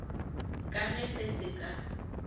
ka ge se se ka